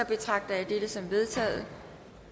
betragter jeg dette som vedtaget